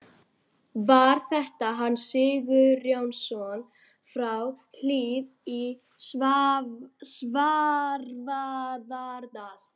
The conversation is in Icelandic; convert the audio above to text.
Var þetta Hans Sigurjónsson frá Hlíð í Svarfaðardal?